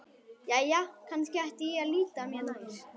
Jæja, kannski ætti ég að líta mér nær.